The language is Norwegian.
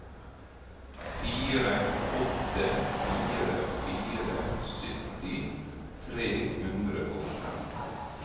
fire åtte fire fire sytti tre hundre og fem